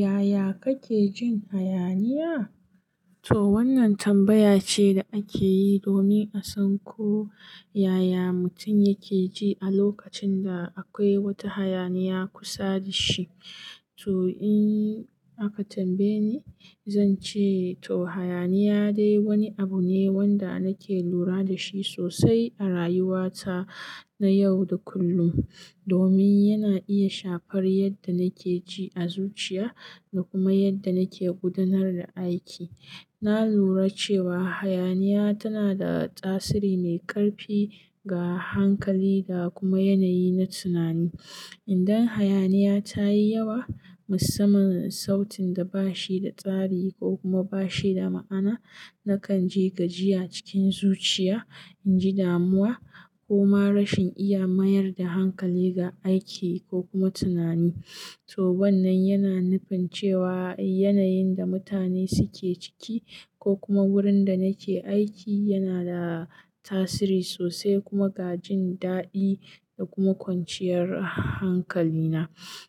Yaya kake jin hayaniya? To wannan tambaya ce da ake yi domin a san ko yaya mutum yake ji a lokacin da akwai wata hayaniya kusa da shi. To in aka tambaye ni, zan ce to hayaniya dai wani abu ne wanda nake lura da shi sosai a rayuwa ta na yau da kullum domin yana iya shafar yadda nake ji a zuciya da kuma yadda nake gudanar da aiki. Na lura cewa hayaniya tana da tasiri mai ƙarfi ga hankali da kuma yanayi na tunani. Idan hayaniya tayi yawa, musamman sautin da bashi da tsari ko kuma bashi da ma'ana, nakan ji gajiya cikin zuciya, in ji damuwa ko ma rashin iya mayar da hankali ga aiki ko kuma tunani. To wannan yana nufin cewa yanayin da mutane suke ciki ko kuma wurin da nake aiki yana da tasiri sosai kuma ga jin daɗi da kuma kwanciyar hankali na.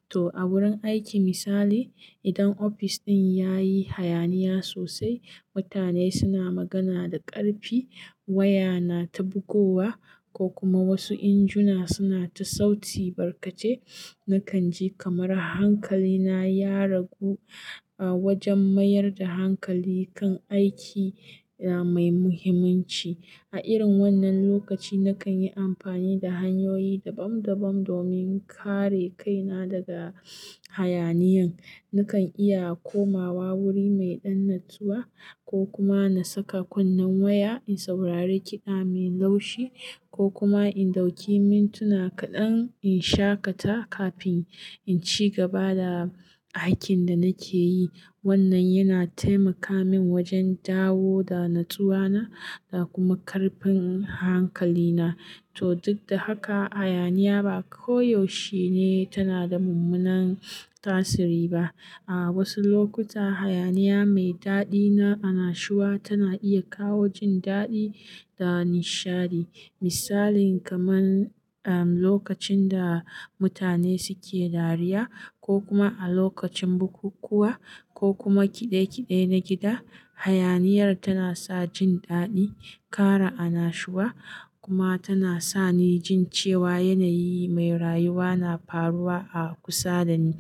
To a wurin aiki misali, idan ofis ɗin yayi hayaniya sosai, mutane suna magana da ƙarfi, waya na ta bugowa ko kuma wasu injuna suna ta sauti barkace, nakan ji kamar hankali na ya ragu a wajen mayar da hankali kan aiki mai muhimmanci. A irin wannan lokaci, nakan yi amfani da hanyoyi dabam dabam domin kare kaina daga hayaniyan. Nakan iya komawa wuri mai ɗan natsuwa ko kuma na saka kunnen waya in saurari kiɗa mai laushi ko kuma in ɗauki mintuna kaɗan in shaƙata kafin in ci gaba da aikin da nake yi. Wannan yana taimaka min wajen dawo da natsuwa na da kuma ƙarfin hankali na. To duk da haka, hayaniya ba koyaushe ne tana da mummunan tasiri ba. A wasu lokuta, hayaniya mai daɗi na annashuwa tana iya kawo jin daɗi da nishadi. Misalin kamar lokacin da mutane suke dariya ko kuma a lokacin bukukuwa ko kuma ƙide-ƙide na gida, hayaniyar tana sa jin daɗi, kara annashuwa kuma tana sa ni jin cewa yanayi mai rayuwa na faruwa a kusa da ni.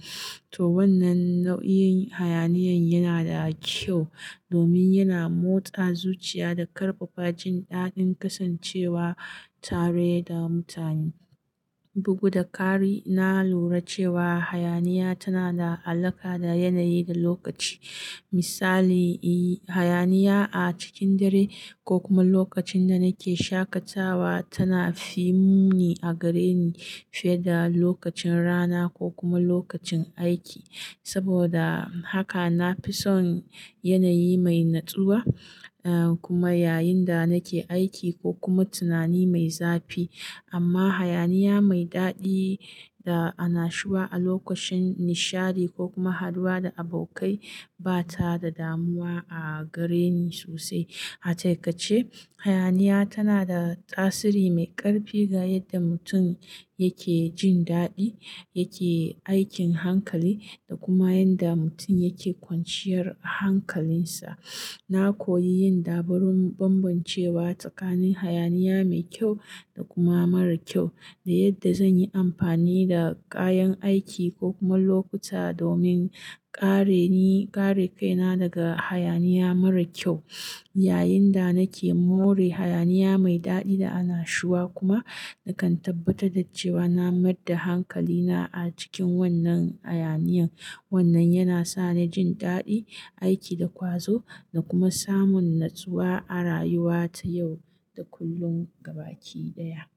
To wannan nau'in hayaniyan yana da kyau domin yana motsa zuciya da ƙarfafa jin daɗin kasancewa tare da mutane. Bugu da ƙari, na lura cewa hayaniya tana da alaƙa da yanayi da lokaci. Misali, hayaniya a cikin dare ko kuma lokacin da nake shaƙatawa tana fi muni a gare ni fiye da lokacin rana ko kuma lokacin aiki. Saboda haka nafi son yanayi mai natsuwa am kuma yayin da nake aiki ko kuma tunani mai zafi. Amma hayaniya mai daɗi da annashuwa a lokacin nishadi ko kuma haduwa da abokai ba ta da damuwa a gare ni sosai. A taƙaice, hayaniya tana da tasiri mai ƙarfi ga yadda mutum yake jin daɗi, yake aikin hankali da kuma yadda mutum yake kwanciyar hankalinsa. Na koyi yin dabaru bambancewa tsakanin hayaniya mai kyau da kuma mara kyau da yadda zan yi amfani da kayan aiki ko kuma lokuta domin kare ni, kare kaina daga hayaniya mara kyau yayin da nake more hayaniya mai daɗi da annashuwa. Kuma nakan tabbatar da cewa na mayar da hankali na a cikin wannan hayaniyan. Wannan yana sa ni jin daɗi, aiki da ƙwazo da kuma samun natsuwa a rayuwa ta yau da kullum gaba ɗaya.